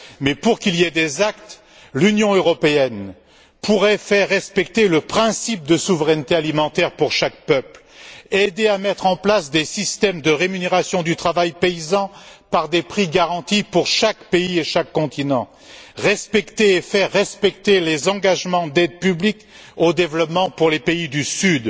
Mais, pour qu'il y ait des actes, l'Union européenne pourrait faire respecter le principe de souveraineté alimentaire pour chaque peuple, aider à mettre en place des systèmes de rémunération du travail paysan par des prix garantis pour chaque pays et chaque continent, respecter et faire respecter les engagements d'aide publique au développement pour les pays du Sud,